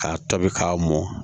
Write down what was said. K'a tobi k'a mɔn